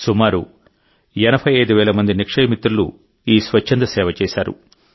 సుమారు 85 వేల మంది నిక్షయ మిత్రులు ఈ స్వచ్ఛంద సేవ చేశారు